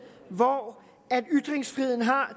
hvor ytringsfriheden har